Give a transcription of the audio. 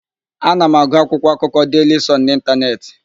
Ana m agụ akwụkwọakụkọ Deili Sọn n'Ịntanetị.